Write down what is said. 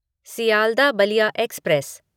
Sealdah Ballia express